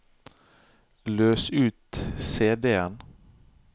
løs ut CD-en